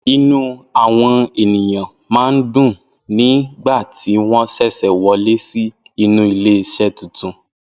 Inú àwọn ènìyàn máa ń dùn nígbà tí wọ́n ṣẹ̀ṣẹ̀ wọlé sí inú ilé iṣẹ́ titun.